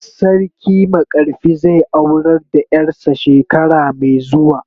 Sarki makarfi zai aurar da yar sa shekara mai zuwa.